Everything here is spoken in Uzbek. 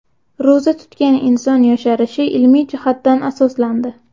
Ro‘za tutgan inson yosharishi ilmiy jihatdan asoslandi.